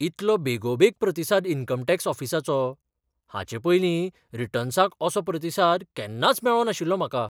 इतलो बेगोबेग प्रतिसाद इन्कम टॅक्स ऑफिसाचो? हाचे पयलीं रिटर्न्सांक असो प्रतिसाद केन्नाच मेळ्ळो नाशिल्लो म्हाका.